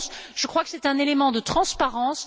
Je crois que c'est un élément de transparence.